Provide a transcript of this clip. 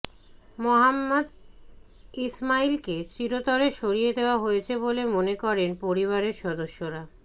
মোহাম্মদ ইসমাঈলকে চিরতরে সরিয়ে দেওয়া হয়েছে বলে মনে করেন পরিবারের সদস্যরা